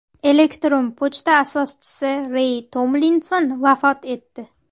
Elektron pochta asoschisi Rey Tomlinson vafot etdi.